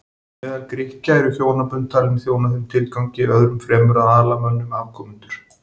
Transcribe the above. Meðal Grikkja voru hjónabönd talin þjóna þeim tilgangi öðrum fremur að ala mönnum afkomendur.